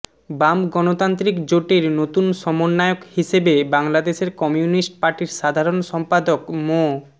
বাম গণতান্ত্রিক জোটের নতুন সমন্বয়ক হিসেবে বাংলাদেশের কমিউনিস্ট পার্টির সাধারণ সম্পাদক মো